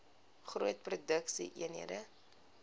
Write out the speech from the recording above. groot produksie eenhede